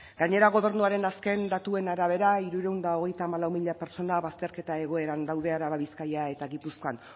gainera gobernuaren azken datuen arabera hirurehun eta hogeita hamalau mila pertsona bazterketa egoeran daude araba bizkaia eta gipuzkoan